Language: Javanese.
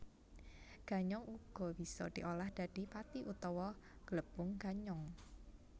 Ganyong uga bisa diolah dadi pati utawa glepung ganyong